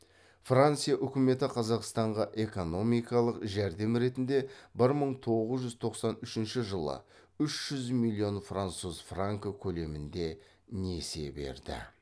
франция үкіметі қазақстанға экономикалық жәрдем ретінде бір мың тоғыз жүз тоқсан үшінші жылы үш жүз миллион француз франкі көлемінде несие берді